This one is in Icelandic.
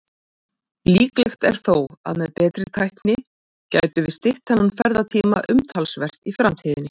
Líklegt er þó að með betri tækni gætum við stytt þennan ferðatíma umtalsvert í framtíðinni.